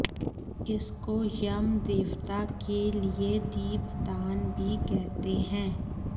इसको यम देवता के लिए दीपदान भी कहते हैं